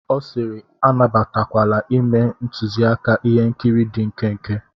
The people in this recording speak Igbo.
Ọ sịịrị, anabatakwala ime ntuziaka ihe nkiri dị nkenke.